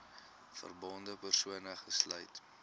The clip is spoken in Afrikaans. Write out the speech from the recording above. verbonde persone uitgesluit